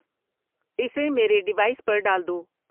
اسے میرےڈیوائس پر ڈال دو